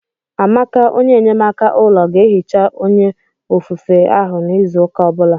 Amaka enyemaka ụlọ ga-ehicha onye ofufe to ahụ n'izu ụka ọ bụla.